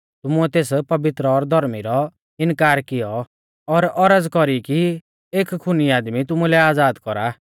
तुमुऐ तेस पवित्र और धौर्मी रौ इनकार कियौ और औरज़ कौरी की एक खुनी आदमी तुमुलै आज़ाद कौरा